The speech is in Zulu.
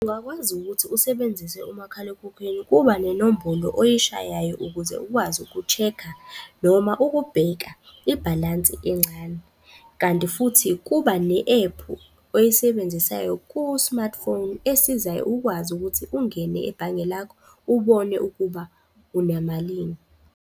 Ungakwazi ukuthi usebenzise umakhalekhukhwini, kuba nenombolo oyishayayo ukuze ukwazi uku-check-a noma ukubheka ibhalansi encane. Kanti futhi kuba ne-ephu oyisebenzisayo ku-martphone esizayo ukwazi ukuthi ungene ebhange lakho ubone ukuba unamalini.